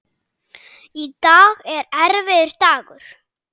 Í dag er erfiður dagur.